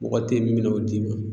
Mɔgɔ te yen min bina o d'i ma